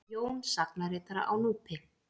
Jón sagnaritara á Núpi.